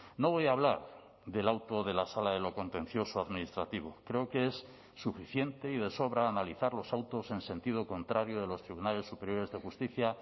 no voy a hablar del auto de la sala de lo contencioso administrativo creo que es suficiente y de sobra analizar los autos en sentido contrario de los tribunales superiores de justicia